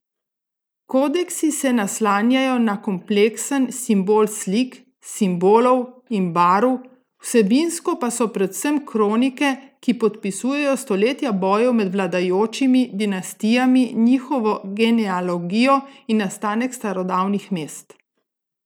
Kodeksi se naslanjajo na kompleksen simbol slik, simbolov in barv, vsebinsko pa so predvsem kronike, ki popisujejo stoletja bojev med vladajočimi dinastijami, njihovo genealogijo in nastanek starodavnih mest.